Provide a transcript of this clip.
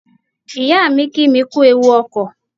Ìyáà mi kí mi kú ewu ọkọ̀.